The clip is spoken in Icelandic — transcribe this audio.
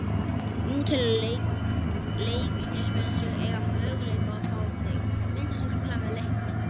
Nú telja Leiknismenn sig eiga möguleika á að fá þig, myndir þú spila með Leikni?